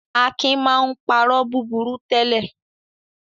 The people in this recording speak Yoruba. Akin máa ń parọ́ búburú tẹ́lẹ̀.